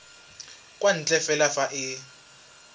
kwa ntle fela fa e